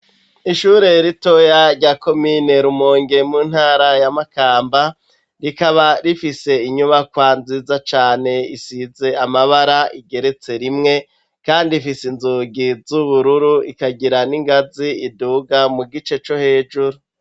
Ishure ritoya rya komine Rumonge mu ntara ya makamba rikaba rifise inyubakwa nziza cane isize amabara igeretse rimwe kandi ifise inzugi z'ubururu ikagira n'ingazi iduga mu gice co hejuru.